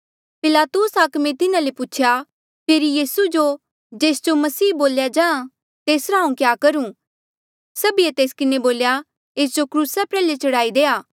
पिलातुस हाकमे तिन्हा ले पूछेया फेरी यीसू जो जेस जो मसीह बोल्या जाहाँ तेसरा हांऊँ क्या करूं सभीए तेस किन्हें बोल्या एस जो क्रूसा प्रयाल्हे चढ़ाई देआ